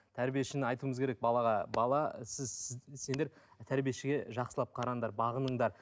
тәрбиешіні айтуымыз керек балаға бала сіз сіз сендер тәрбиешіге жақсылып қараңдар бағыныңдар